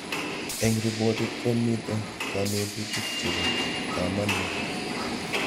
Eng' ripotit ko mito kanetutik chepo kamanut